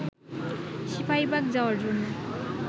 সিপাহীবাগ যাওয়ার জন্য